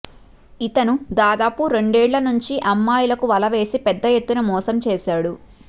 ఇతను దాదాపు రెండేళ్ల నుంచి అమ్మాయిలకు వల వేసి పెద్ద ఎత్తున మోసం చేశాడు